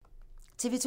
TV 2